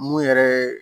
Mun yɛrɛ ye